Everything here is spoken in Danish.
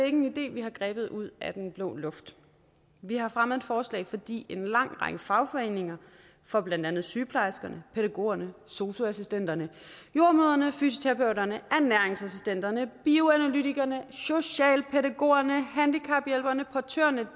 en idé vi har grebet ud af den blå luft vi har fremsat forslaget fordi en lang række fagforeninger for blandt andet sygeplejerskerne pædagogerne sosu assistenterne jordemødrene fysioterapeuterne ernæringsassistenterne bioanalytikerne socialpædagogerne handicaphjælperne portørerne